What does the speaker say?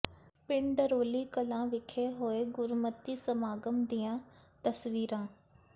ਪਿੰਡ ਡਰੋਲੀ ਕਲਾਂ ਵਿੱਖੇ ਹੋਏ ਗੁਰਮਤਿ ਸਮਾਗਮ ਦੀਆਂ ਤਸਵੀਰਾਂ